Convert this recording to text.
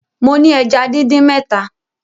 Mo ni èjá díndín mẹta